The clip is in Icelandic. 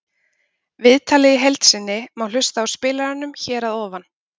Viðtalið í heild sinni má hlusta á í spilaranum hér að ofan